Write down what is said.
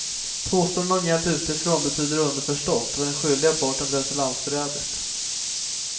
Påståenden om hjälp utifrån betyder underförstått att den skyldiga parten betett sig landsförrädiskt.